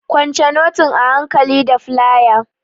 Kwance notin a hankali da flaya!